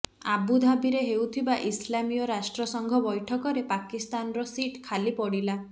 ଆବୁଧାବିରେ ହେଉଥିବା ଇସଲାମିୟ ରାଷ୍ଟ୍ର ସଂଘ ବୈଠକରେ ପାକିସ୍ତାନର ସିଟ୍ ଖାଲି ପଡ଼ିଲା